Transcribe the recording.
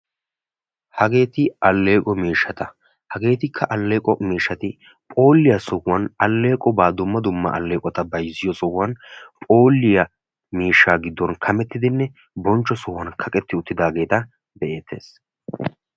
hageeti alleeqo miishshata. hageetikka alleeqo miishshati phooliya sohuwan alleeqobaa dumma dumma alleeqota bayizziyo sohuwan phooliya miishshan kamettidinne bonchcho sohuwan kaqetti uttidaageeta be'eettes.